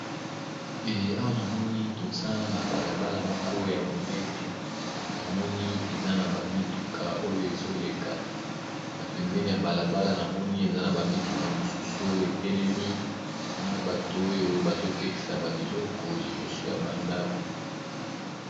Ee awa namoni toza na bala bala moko ya monene na moni eza na ba mituka oyo ezoleka na pembene ya bala bala namoni eza na ba mituka misusu oyo etelemi na bato oyo bazo tekisa ba biloko liboso ya ba ndako.